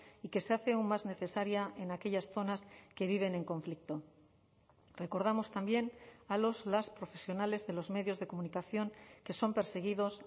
y que se hace aún más necesaria en aquellas zonas que viven en conflicto recordamos también a los las profesionales de los medios de comunicación que son perseguidos